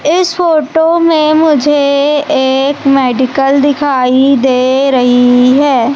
इस फोटो में मुझे एक मेडिकल दिखाई दे रही है।